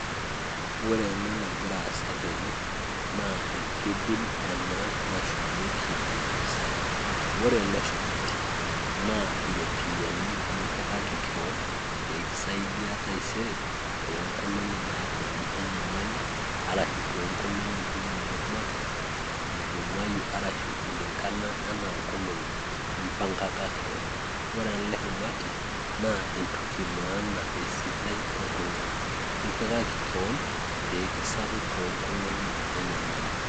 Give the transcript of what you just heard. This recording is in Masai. ore ena erpimibil ena nashumieki iropiyiani ore ele shumati naa iropiyiani nishumaki kewan, pee kisaidia tengata enyali ashu toongolong'i inonok makewan idimayu, ashu ilingana ana ingolong'i nimpangaka kewan ore ele shumati naa entoki emaana toltung'ani, lipikaki kewan pee kisaru toongolong'i enyamali.